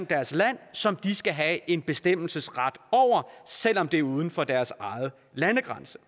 deres land som de skal have en bestemmelsesret over selv om det er uden for deres egne landegrænser